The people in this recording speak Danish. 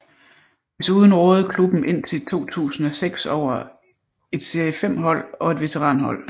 Desuden rådede klubben indtil 2006 over et serie 5 hold og et veteranhold